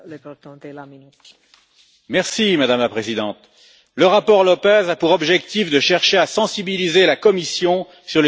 Madame la Présidente, le rapport López a pour objectif de chercher à sensibiliser la Commission sur les inégalités économiques dans l'Union européenne.